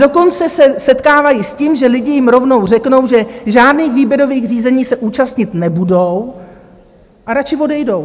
Dokonce se setkávají s tím, že lidi jim rovnou řeknou, že žádných výběrových řízení se účastnit nebudou a radši odejdou.